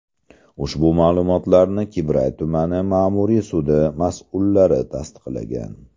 Ushbu ma’lumotlarni Qibray tuman ma’muriy sudi mas’ullari tasdiqlagan.